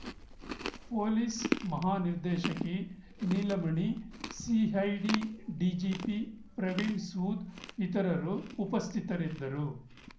police ಮಹಾನಿರ್ದೇಶಕಿ Neelamani CID DGP Praveen Sood ಇತರರು ಉಪಸ್ಥಿತರಿದ್ದರು